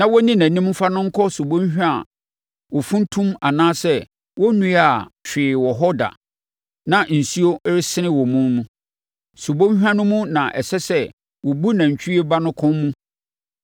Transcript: na wɔnni nʼanim mfa no nkɔ subɔnhwa a wɔmfuntum anaa wɔnnuaa hwee wɔ hɔ da na nsuo resene wɔ mu mu. Subɔnhwa no mu na ɛsɛ sɛ wɔbu nantwie ba no kɔn mu.